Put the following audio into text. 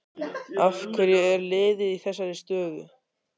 Af hverju er liðið í þessari stöðu?